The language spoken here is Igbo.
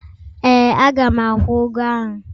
Ee. Aga m akwụ ụgwọ ahụ.